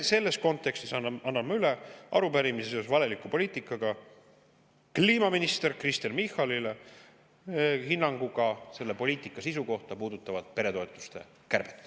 Selles kontekstis anname üle arupärimise valeliku poliitika kohta kliimaminister Kristen Michalile, hinnangut selle poliitika sisu kohta, mis puudutab peretoetuste kärbet.